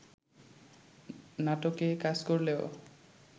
নাটকে কাজ করলেও